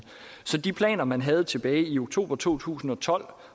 så de planer man havde tilbage i oktober to tusind og tolv